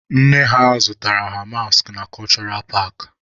Nne ha zụtaara ha maskị na kọshụra paakị.